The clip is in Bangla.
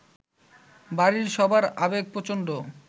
বাড়ির সবার আবেগ প্রচন্ড